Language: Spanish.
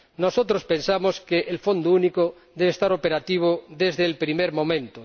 Nosotros pensamos que el Fondo Único debe estar operativo desde el primer momento